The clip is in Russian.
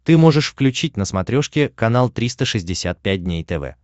ты можешь включить на смотрешке канал триста шестьдесят пять дней тв